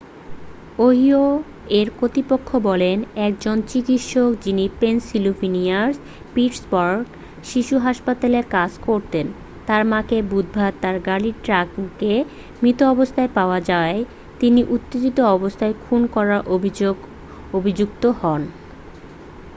Ohio এর কর্তৃপক্ষ বলে একজন চিকিৎসক যিনি পেনসিল্ভেনিয়ার পিটসবার্গ শিশু হাসপাতালে কাজ করতেন তার মাকে বুধবারে তার গাড়ির ট্রাঙ্কে মৃত অবস্থায় পাওয়া যাওয়ায় তিনি উত্তেজিত অবস্থায় খুন করার অভিযোগে অভিযুক্ত হবেন